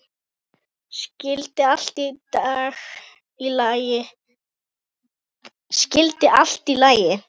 Skyldi allt í lagi?